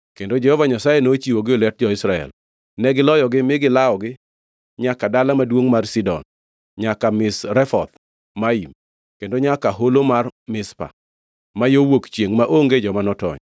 kendo Jehova Nyasaye nochiwogi e lwet jo-Israel. Negiloyogi mi gilawogi nyaka dala maduongʼ mar Sidon, nyaka Misrefoth Maim kendo nyaka Holo mar Mizpa ma yo wuok chiengʼ, maonge joma notony.